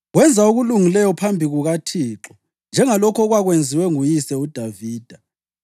Wenza okulungileyo phambi kukaThixo, njengalokho okwakwenziwe nguyise uDavida.